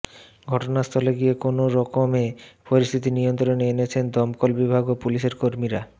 ঘটনাস্থলে গিয়ে কোনওরকমে পরিস্থিতি নিয়ন্ত্রণে এনেছেন দমকল বিভাগ ও পুলিশের কর্মীরা